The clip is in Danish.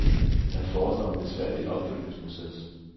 Der forestår en besværlig opfølgningsproces.